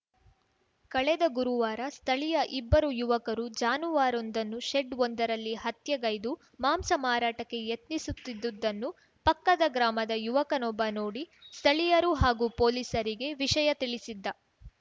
ಕಳೆದ ಗುರುವಾರ ಸ್ಥಳೀಯ ಇಬ್ಬರು ಯುವಕರು ಜಾನುವಾರೊಂದನ್ನು ಶೆಡ್‌ವೊಂದರಲ್ಲಿ ಹತ್ಯೆಗೌದು ಮಾಂಸ ಮಾರಾಟಕ್ಕೆ ಯತ್ನಿಸುತ್ತಿದ್ದುದನ್ನು ಪಕ್ಕದ ಗ್ರಾಮದ ಯುವಕನೊಬ್ಬ ನೋಡಿ ಸ್ಥಳೀಯರು ಹಾಗೂ ಪೊಲೀಸರಿಗೆ ವಿಷಯ ತಿಳಿಸಿದ್ದ